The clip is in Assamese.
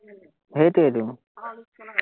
সেইটোৱেতো